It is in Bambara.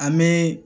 An bɛ